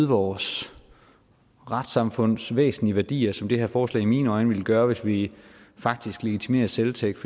vores retssamfunds væsentlige værdier som det her forslag i mine øjne ville gøre hvis vi faktisk legitimerer selvtægt